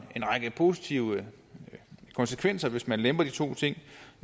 positive konsekvenser hvis man lemper de to ting